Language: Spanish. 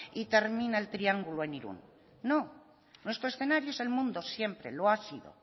y termina el triángulo en irun no nuestro escenario es el mundo siempre lo ha sido